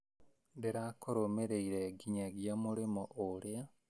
Ndĩrakũrũmĩrĩire nginyagia mũrĩmo ũrĩa